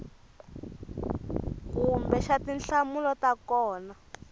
kumbe xa tinhlamulo to koma